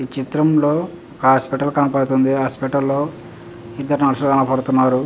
ఈ చిత్రం లో హాస్పిటల్ కనిపిస్తుంది.హాస్పిటల్ లో ఇద్దరు నర్స్ కనబడుతున్నారు.